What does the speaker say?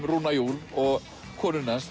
rúnna Júl og konu hans